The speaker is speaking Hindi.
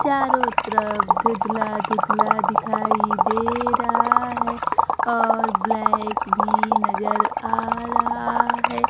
चारों तरफ धूधला धूधला दिखाई दे रहा है और ब्लैक भी नजर आ रहा है।